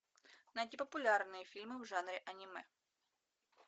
найти популярные фильмы в жанре аниме